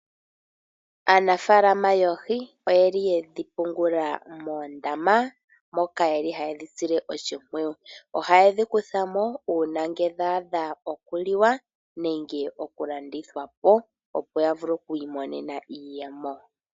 Aanafalama yoohi oyeli yedhi pungula moondama, moka yeli hadhisile oshipwiyu, oha dhikuthamo una ngele dhadha oku liwa nenge oku landithwapo opo yavule okwi monena iiyemo.